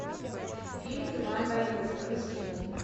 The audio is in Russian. фильм туман войны загрузи